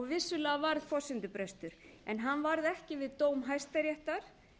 vissulega varð forsendubrestur en hann varð ekki við dóm hæstaréttar